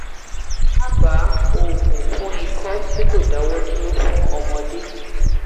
daba oogun fún iko ti ko dawo duro fun ọmọdé